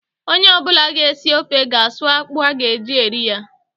Ọnye ọbụla ga esi ofe ga a suu akpụ a ga eji eri ya